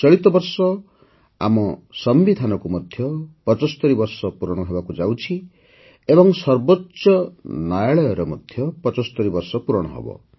ଚଳିତ ବର୍ଷ ଆମ ସମ୍ବିଧାନକୁ ମଧ୍ୟ ୭୫ ବର୍ଷ ପୂରଣ ହେବାକୁ ଯାଉଛି ଏବଂ ସର୍ବୋଚ୍ଚ ନ୍ୟାୟାଳୟର ମଧ୍ୟ ୭୫ ବର୍ଷ ପୂରଣ ହେବ